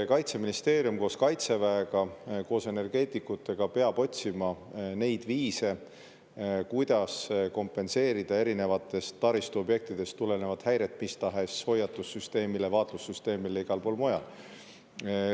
Kaitseministeerium koos Kaitseväega, koos energeetikutega peab otsima viise, kuidas kompenseerida erinevatest taristuobjektidest tulenevaid häireid mis tahes hoiatussüsteemile ja vaatlussüsteemile kusagil mujal.